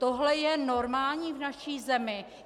Tohle je normální v naší zemi?